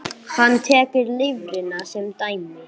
Hann tekur lifrina sem dæmi.